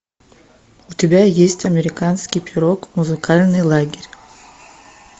у тебя есть американский пирог музыкальный лагерь